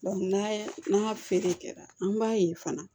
n'a feere kɛra an b'a ye fana